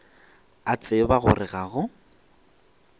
a tseba gore ga go